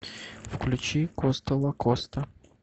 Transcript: включи коста лакоста